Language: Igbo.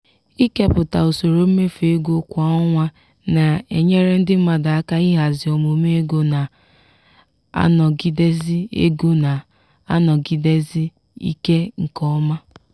ịkepụta usoro mmefu ego kwa ọnwa na-enyere ndị mmadụ aka ihazi omume ego na-anọgịdesi ego na-anọgịdesi ike nke ọma.